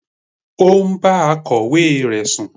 He was having Sexual affair with his secretary.